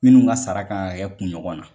Minnu ka saraka kan ka kɛ kun ɲɔgɔn na.